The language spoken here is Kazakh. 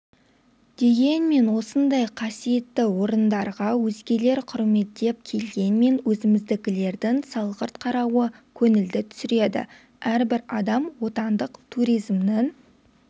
дегенмен осындай қасиетті орындарға өзгелер құрметтеп келгенмен өзіміздікілердің салғырт қарауы көңілді түсіреді әрбір адам отандық туризмнің